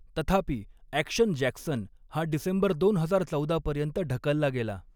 तथापि, 'Action Jackson' हा December दोन हजार चौदा पर्यंत ढकलला गेला.